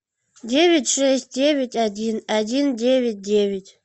девять шесть девять один один девять девять